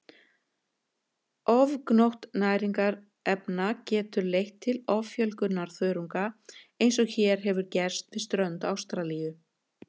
Ofgnótt næringarefna getur leitt til offjölgunar þörunga eins og hér hefur gerst við strönd Ástralíu.